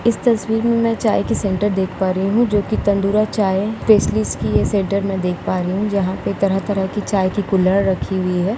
इस तस्वीर मे मैं चाय की सेंटर देख पा रही हूँ जो की तंदुरा चाय स्पेशलिस्ट की सेंटर मे देख पा रही हूँ। जहाँ पे तरह तरह चाय की कुल्हड़ रखी हुई है।